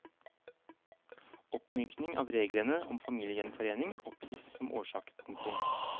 Oppmykning av reglene om familiegjenforening oppgis som årsak. punktum